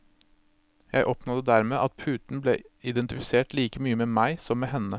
Jeg oppnådde dermed at puten ble identifisert like mye med meg som med henne.